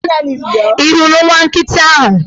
Ị hụrụ nwa nkịta ahụ?